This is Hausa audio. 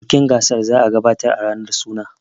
bikin gasar daka za a gabatar a ranar suna